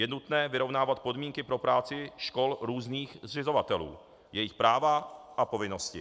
Je nutné vyrovnávat podmínky pro práci škol různých zřizovatelů, jejich práva a povinnosti.